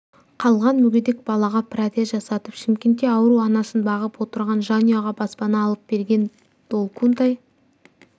қалған мүгедек балаға протез жасатып шымкентте ауру анасын бағып отырған жанұяға баспана алып берген долкунтай